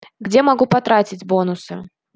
где могу потратить бонусы